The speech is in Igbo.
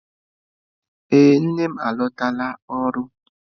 Ee nne m alọtala ọrụ.